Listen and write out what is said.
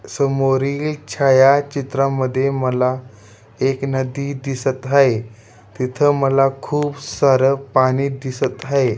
समोरील छायाचित्रामध्ये मला एक नदी दिसत आहे तिथ मला खूप सार पाणी दिसत आहे.